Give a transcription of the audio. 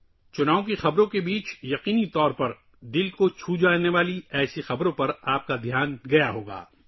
انتخابی خبروں کے درمیان، آپ نے یقیناً ایسی دل کو چھو لینے والی خبروں کو دیکھا ہوگا